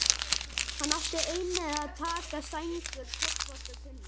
Hann átti einnig að taka sængur, koffort og tunnu.